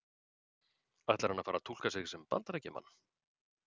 Ætlar hann að fara að túlka sig sem Bandaríkjamann?